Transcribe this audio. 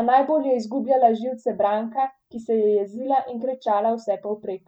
a najbolj je izgubljala živce Branka, ki se je jezila in kričala vsepovprek.